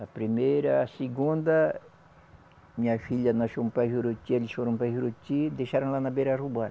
A primeira, a segunda, minha filha nós fomos para Juruti, eles foram para Juruti e deixaram lá na beira, roubaram